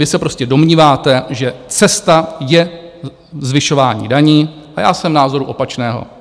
Vy se prostě domníváte, že cesta je zvyšování daní, a já jsem názoru opačného.